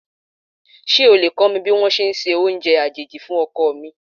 Ṣé o lè kó mi ní wón ṣe ẹ se oúnjẹ àjèjì fún ọkọ mi?